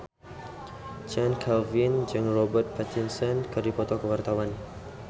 Chand Kelvin jeung Robert Pattinson keur dipoto ku wartawan